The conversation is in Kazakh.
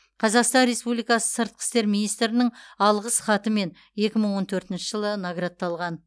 қазақстан республикасы сыртқы істер министрінің алғыс хатымен екі мың он төртінші жылы наградталған